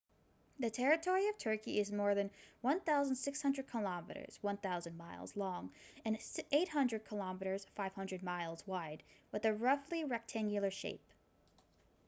the territory of turkey is more than 1,600 kilometres 1,000 mi long and 800 km 500 mi wide with a roughly rectangular shape